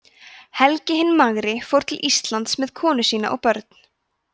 helgi hinn magri fór til íslands með konu sína og börn